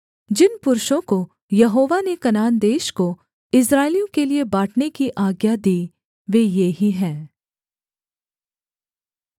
जिन पुरुषों को यहोवा ने कनान देश को इस्राएलियों के लिये बाँटने की आज्ञा दी वे ये ही हैं